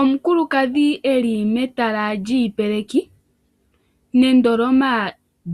Omukulukadhi eli metala lyiipeleki nendoloma